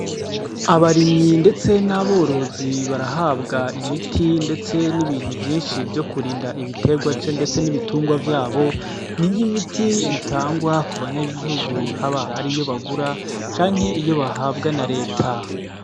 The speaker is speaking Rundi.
Abarimyi ndetse n'aborozi barahabwa imiti ndetse n'ibintu vyishi vyo kurinda ndetse ibitengwa ndetse n'ibitungwa vyabo ni nk'imiti itangwa ku banyagihugu haba ariyo bagura canke bahabwa na reta.